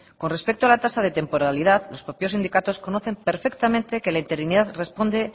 con respecto a la tasa de temporalidad los propios sindicatos conocen perfectamente que la interinidad responde